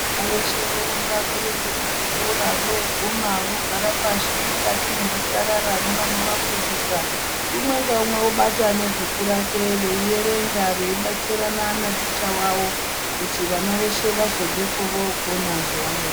Vana veshe vorumba veyienda kuzvikora, voguma vogara pashi mukati mwezvisarara nevanovafundisa, umwe ngaumwe obata nebhuku rake, veyierenga, veyibatsirana naticha wavo kuti vana veshe vazobvapo vokona zvavanonge.